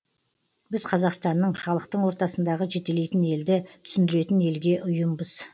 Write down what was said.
біз қазақстанның халықтың ортасындағы жетелейтін елді түсіндіретін елге ұйымбыз